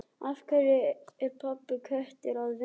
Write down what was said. Af hverju er pabbi Kötu að vinna í